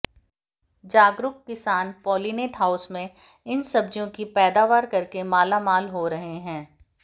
जागरूक किसान polynet house में इन सब्जियों की पैदावार करके मालामाल हो रहे हैं